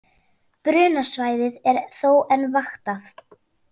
Brunasvæðið er þó enn vaktað